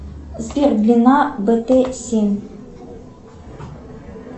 сбер длина бт семь